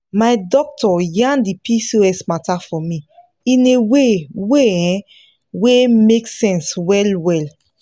my doctor yan the pcos matter for me in a way way um wey make sense well well.